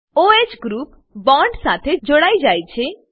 o હ group bond સાથે જોડાઈ જાય છે